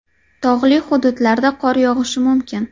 Tog‘li hududlarda qor yog‘ishi mumkin.